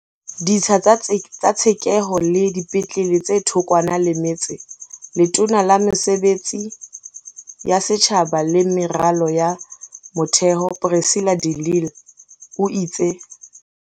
Ditsha tsa tshekeho le dipetlele tse thokwana le metse Letona la Mesebetsi ya Setjhaba le Meralo ya Motheo Precilla de Lille o itse.